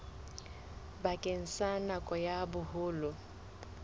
bakeng sa nako ya boholo